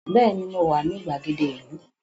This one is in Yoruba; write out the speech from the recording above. Bẹ́ẹ̀ni, mo wà ní gbàgede ìlú